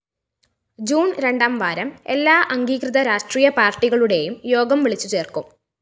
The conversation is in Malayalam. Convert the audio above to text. ജൂണ്‍ രണ്ടാംവാരം എല്ലാ അംഗീകൃത രാഷ്ട്രീയ പാര്‍ട്ടികളുടേയും യോഗം വിളിച്ചുചേര്‍ക്കും